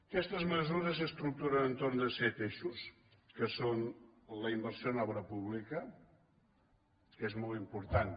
aquestes mesures s’estructuren entorn de set eixos que són la inversió en obra pública que és molt important